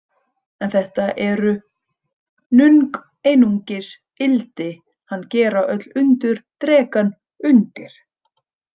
En þetta eru nung einungis ildi hann gera öll undur drekann undir.